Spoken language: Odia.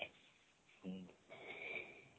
ହୁଁ